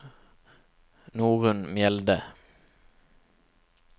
Norunn Mjelde